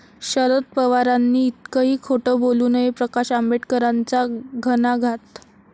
शरद पवारांनी इतकंही खोटं बोलू नये, प्रकाश आंबेडकरांचा घणाघात